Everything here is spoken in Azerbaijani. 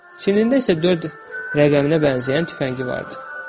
Çiyinində isə dörd rəqəminə bənzəyən tüfəngi vardı.